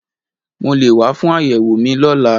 Mo lè wá fún àyẹ̀wò mi lọ́la